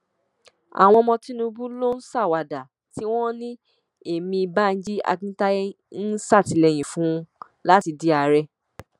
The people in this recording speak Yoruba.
àwọn ọmọ tinubu ló ń ṣàwàdà tí wọn ní ẹmí banji akintaye ń ṣàtìlẹyìn fún un láti di ààrẹ